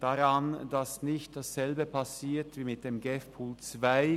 es soll nicht dasselbe passieren wie mit dem GEF-Pool 2.